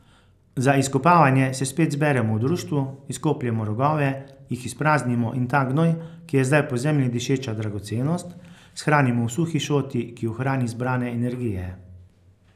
Za izkopavanje se spet zberemo v društvu, izkopljemo rogove, jih izpraznimo in ta gnoj, ki je zdaj po zemlji dišeča dragocenost, shranimo v suhi šoti, ki ohrani zbrane energije.